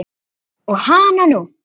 Og hananú!